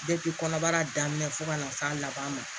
kɔnɔbara daminɛ fo ka na s'a laban ma